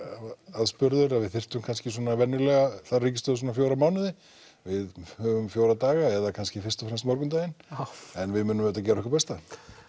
aðspurður að við þyrftum kannski venjulega fær ríkisstjórn svona fjóra mánuði við höfum fjóra daga eða kannski fyrst og fremst morgundaginn en við munum auðvitað gera okkar besta